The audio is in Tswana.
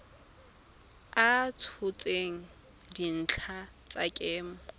a tshotseng dintlha tsa kemo